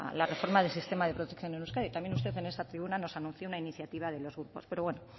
la reforma del sistema de protección en euskadi también usted en esta tribuna nos anunció una iniciativa de los grupos pero bueno